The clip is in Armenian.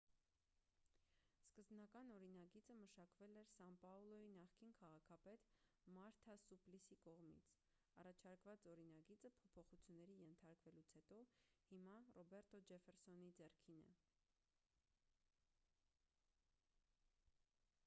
սկզբնական օրինագիծը մշակվել էր սան պաուլոյի նախկին քաղաքապետ մարթա սուպլիսի կողմից առաջարկված օրինագիծը փոփոխությունների ենթարկվելուց հետո հիմա ռոբերտո ջեֆֆերսոնի ձեռքին է